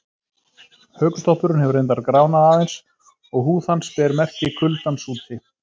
Hökutoppurinn hefur reyndar gránað aðeins og húð hans ber merki kuldans úti.